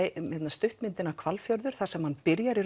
stuttmyndina Hvalfjörður þar sem hann byrjaði